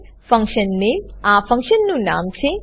function name function name આ ફંક્શનનું નામ છે